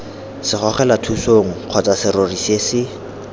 segogelathusong kgotsa serori se se